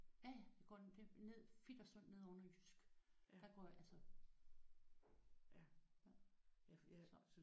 Ja ja jeg går ned Fit og Sund nede oven i Jysk der går jeg altså